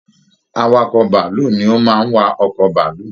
Awakọ bàálù ni o má n wa ọkọ bàálù.